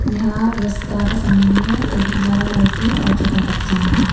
यहां रस्ता का सामने में एक बड़ा लड़की और छोटा बच्चा है।